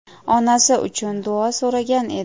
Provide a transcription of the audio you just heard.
onasi uchun duo so‘ragan edi.